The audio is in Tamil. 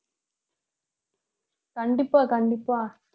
கண்டிப்பா கண்டிப்பா